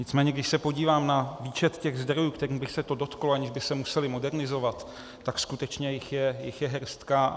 Nicméně když se podívám na výčet těch zdrojů, kterých by se to dotklo, aniž by se musely modernizovat, tak skutečně jich je hrstka.